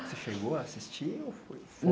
Você chegou a assistir ou